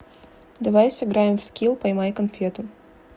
давай сыграем в скил поймай конфету